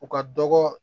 U ka dɔgɔ